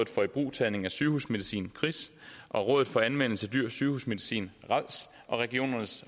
for ibrugtagning af sygehusmedicin kris og rådet for anvendelse af dyr sygehusmedicin rads og regionernes